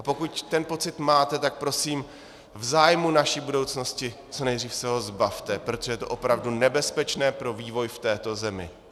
A pokud ten pocit máte, tak prosím v zájmu naší budoucnosti, co nejdřív se ho zbavte, protože je to opravdu nebezpečné pro vývoj v této zemi.